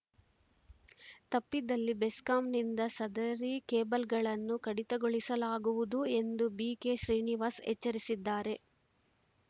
ತಪ್ಪಿದಲ್ಲಿ ಬೆಸ್ಕಾಂನಿಂದ ಸದರಿ ಕೇಬಲ್‌ಗಳನ್ನು ಕಡಿತಗೊಳಿಸಲಾಗುವುದು ಎಂದು ಬಿಕೆಶ್ರೀನಿವಾಸ್‌ ಎಚ್ಚರಿಸಿದ್ದಾರೆ